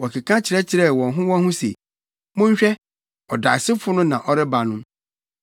Wɔkeka kyerɛkyerɛɛ wɔn ho wɔn ho se, “Monhwɛ! Ɔdaesofo no na ɔreba no!